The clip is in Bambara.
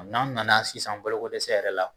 N'an nana sisan balokodɛsɛ yɛrɛ la.